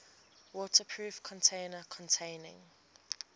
waterproof container containing